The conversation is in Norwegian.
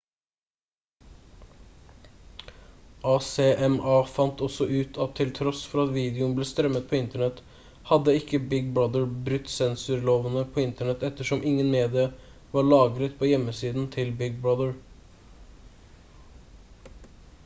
acma fant også ut at til tross for at videoen ble strømmet på internett hadde ikke big brother brutt sensurlovene på internett ettersom ingen media var lagret på hjemmesiden til big brother